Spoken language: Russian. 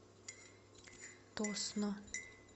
тосно